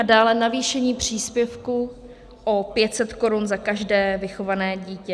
A dále navýšení příspěvku o 500 korun za každé vychované dítě.